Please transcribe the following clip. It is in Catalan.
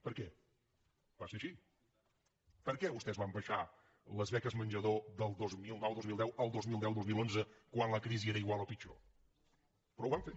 per què vostès van abaixar les beques menjador del dos mil noudos mil deu el dos mil deudos mil onze quan la crisi era igual o pitjor però ho van fer